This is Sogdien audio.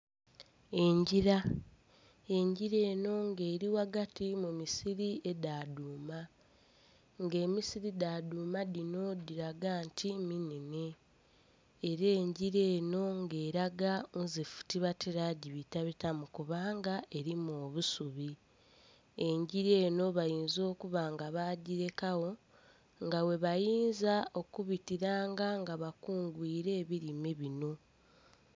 Engira, engira eno nga eri ghagati mu misiri edha dhuuma, nga emisiri dha dhuuma dhino dhiraga nti minhenhe. Era engira eno nga eraga nzifu tibatera gyibitabitamu kubanga erimu obusubi. Engira eno bayinza okuba nga bagyirekagho nga ghebayinza okubitiranga nga bakungwire ebirime bino.